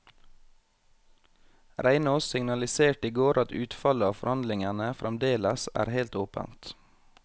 Reinås signaliserte i går at utfallet av forhandlingene fremdeles er helt åpent.